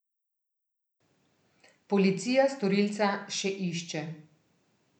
Policija storilca še išče.